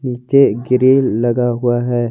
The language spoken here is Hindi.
ये ग्रिल लगा हुआ है।